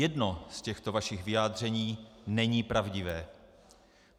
Jedno z těchto vašich vyjádření není pravdivé.